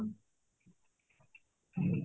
ହୁଁ